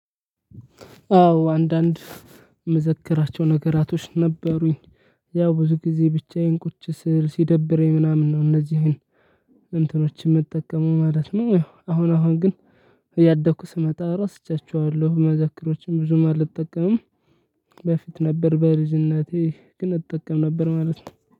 አዎ አንዳንድ ምዘከራቸው ነገራቶች ነበሩኝ ያው ብዙ ጊዜ ብቻዬን ቁጭ ስል ሲደብረኝ ምናምን ነው እነዚህን እንትኖችን ምጠቀመው ማለት ነው አሁን አሁን ግን እያደኩ ስመጣ ረስቻቸዋለሁ መዘክሮችን ብዙም አልጠቀምም በፊት ነበር በልጅነቴ ግን እጠቀም ነበር ማለት ነው።